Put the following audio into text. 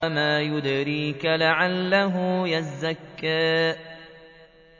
وَمَا يُدْرِيكَ لَعَلَّهُ يَزَّكَّىٰ